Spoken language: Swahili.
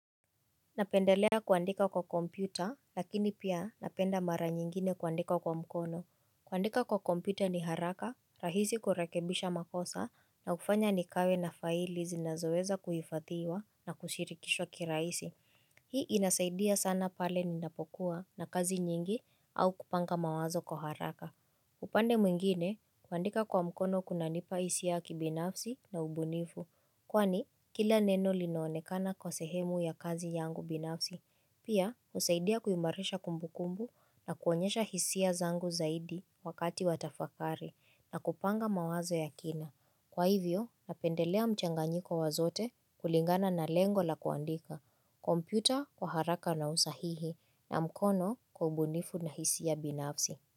Napendelea kuandika kwa kompyuta lakini pia napenda mara nyingine kuandika kwa mkono. Kuandika kwa kompyuta ni haraka, rahisi kurekebisha makosa na kufanya nikawe na faili zinazoweza kuhifadhiwa na kushirikishwa kiraisi. Hii inasaidia sana pale ninapokuwa na kazi nyingi au kupanga mawazo kwa haraka. Upande mwingine, kuandika kwa mkono kunanipa hisia ki binafsi na ubunifu, kwani kila neno linaonekana kwa sehemu ya kazi yangu binafsi, pia husaidia kuimarisha kumbukumbu na kuonyesha hisia zangu zaidi wakati wa tafakari na kupanga mawazo ya kina. Kwa hivyo, napendelea mchanganyiko wazote kulingana na lengo la kuandika, kompyuta kwa haraka na usahihi na mkono kwa ubunifu na hisia binafsi.